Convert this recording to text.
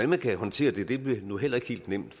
man skal håndtere det bliver nu heller ikke helt nemt